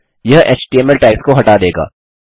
यह HTML tags को हटा देगा